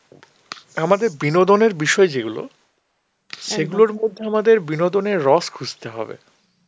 আমাদের বিনোদনের বিষয় যেগুলো সেগুলোর মধ্যে আমাদের বিনোদনের রস খুঁজতে হবে.